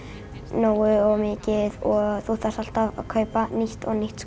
nógu mikið og þú þarft alltaf að kaupa nýtt og nýtt